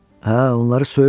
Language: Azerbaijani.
Hə, onları söyürdü.